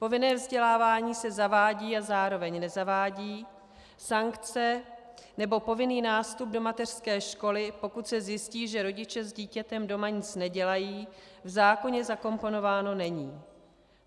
Povinné vzdělávání se zavádí a zároveň nezavádí, sankce nebo povinný nástup do mateřské školy, pokud se zjistí, že rodiče s dítětem doma nic nedělají, v zákoně zakomponovány nejsou.